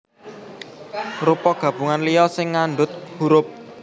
Rupa gabungan liya sing ngandhut hurup